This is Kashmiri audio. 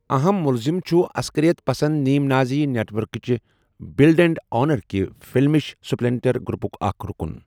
اَہم مٗلزِم چُھ ، اصكرِیت پسند نیم نازی نیٹ وركٗك چہِ بٕلڈ اینٛڈ آنرٕ كہِ فلمِش سپلینٹر گرٗپٗك اكھ رٗكٗن ۔